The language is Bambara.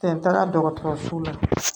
Tɛ taga dɔgɔtɔrɔso la